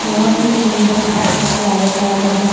बहुत ही सुंदर और प्यारे प्यारे हैं।